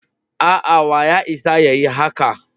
A'a, wa ya isa ya yi haka.